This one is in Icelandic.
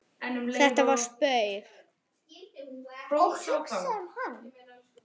Þetta var spaug